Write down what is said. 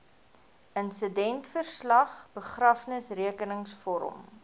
insidentverslag begrafnisrekenings vorm